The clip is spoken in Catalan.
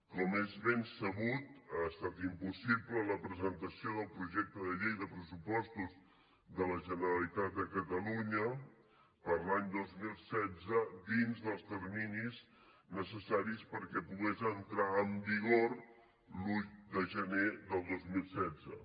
com és ben sabut ha estat impossible la presentació del projecte de llei dels pressupostos de la generalitat de catalunya per a l’any dos mil setze dins dels terminis necessaris perquè pogués entrar en vigor l’un de gener del dos mil setze